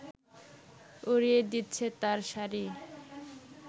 উড়িয়ে দিচ্ছে তার শাড়ি